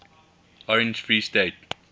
orange free state